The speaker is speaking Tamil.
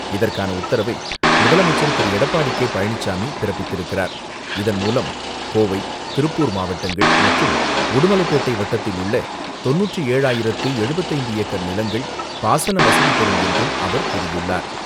இதற்கான உத்தரவை முதலமைச்சர் திரு.எடப்பாடி கே பழனிசாமி பிரப்பித்திருக்கிறார். இதன்மூலம், கோவை, திருப்பூர் மாவட்டங்கள் மற்றும் உடுமலை பேட்டை வட்டத்தில் உள்ள தொண்ணூற்று ஏழாயிரத்து எழுபத்து ஐந்து ஏக்கர் நிலங்கள் பாசன வசதிபெறும் என்றும் அவர் கூறியுள்ளார்.